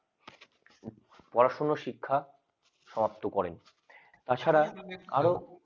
পড়াশোনা শিক্ষা সমাপ্ত করেন তাছাড়া আরও